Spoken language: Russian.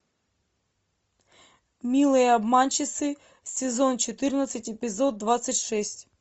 милые обманщицы сезон четырнадцать эпизод двадцать шесть